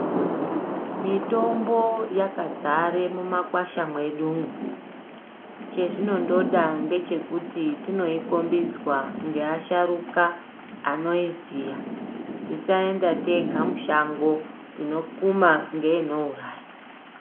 Mitombo yakadzare mumakwasha mwedumwo chezvinongoda ngechekuti tinokhombidzwa ngeasharuka anoiziya, tisaenda tega mushango tinokuma ngeinouraya.